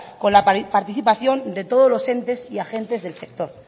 con la participación de todos los entes y agentes del sector